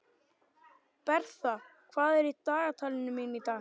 Bertha, hvað er í dagatalinu mínu í dag?